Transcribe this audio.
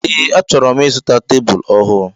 Ee achoro m ịzụta tebụl ọhụụ.